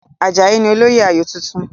Àjàyí ni olóyè ayò tuntun.